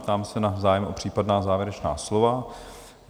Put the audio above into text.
Ptám se na zájem o případná závěrečná slova?